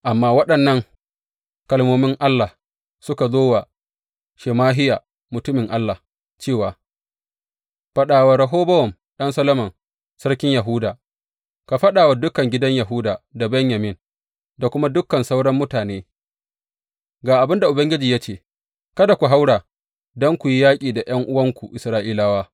Amma waɗannan kalmomin Allah suka zo wa Shemahiya, mutumin Allah, cewa, Faɗa wa Rehobowam ɗan Solomon, sarkin Yahuda, ka faɗa wa dukan gidan Yahuda da Benyamin, da kuma dukan sauran mutane, Ga abin da Ubangiji ya ce, Kada ku haura don ku yi yaƙi da ’yan’uwanku, Isra’ilawa.